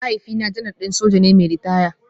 Mahaifina Janar din soja ne mai ritaya